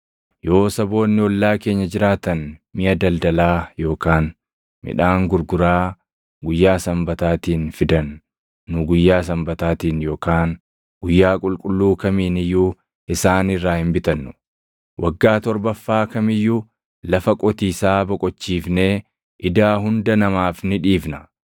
“Yoo saboonni ollaa keenya jiraatan miʼa daldalaa yookaan midhaan gurguraa guyyaa Sanbataatiin fidan nu guyyaa Sanbataatiin yookaan guyyaa qulqulluu kamiin iyyuu isaan irraa hin bitannu. Waggaa torbaffaa kam iyyuu lafa qotiisaa boqochiifnee idaa hunda namaaf ni dhiifna.